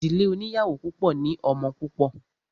Ìdílé oníyàwó púpọ̀ ní ọmọ púpọ̀.